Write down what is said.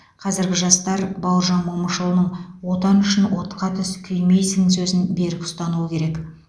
қазіргі жастар бауыржан момышұлының отан үшін отқа түс күймейсің сөзін берік ұстануы керек